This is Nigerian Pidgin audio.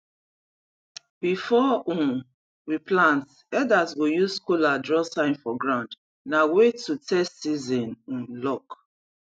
before um we plant elders go use kola draw sign for ground na way to test season um luck